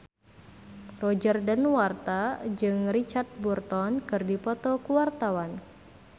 Roger Danuarta jeung Richard Burton keur dipoto ku wartawan